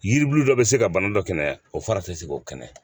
Yiribulu dɔ be se ka bana dɔ kɛnɛya o fara te se k'o kɛnɛ